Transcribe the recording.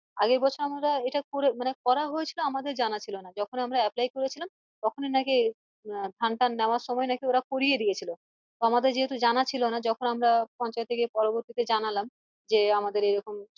আগের বছর আমরা এটা করে মানে করা হয়েছিল আমাদের জানা ছিলোনা যখন আমরা apply করেছিলাম তখনি নাকি আহ ধান টান নেওয়ার সময় ওরা করিয়ে দিয়েছিল আমাদের যেহেতু জানা ছিল না যখন আমরা পঞ্চায়েত এ গিয়ে পরবর্তী তে গিয়ে জানালাম যে আমাদের এরকম